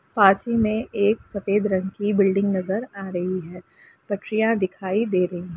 पास ही में एक सफ़ेद रंग की बिल्डिंग नजर आ रही है। प्रकिया दिखाई दे रही रही है।